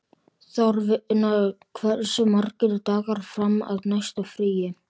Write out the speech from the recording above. Þorfinna, hversu margir dagar fram að næsta fríi?